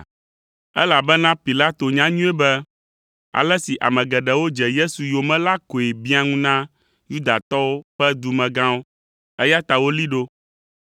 Elabena Pilato nya nyuie be ale si ame geɖewo dze Yesu yomee la koe biã ŋu na Yudatɔwo ƒe dumegãwo, eya ta wolée ɖo.